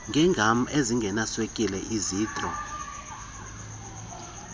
ngeegam ezingenaswekile izitro